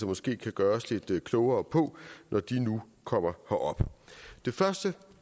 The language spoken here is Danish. måske kan gøre os lidt klogere på når de nu kommer herop det første